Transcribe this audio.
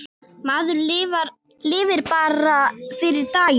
Maður lifir bara fyrir daginn.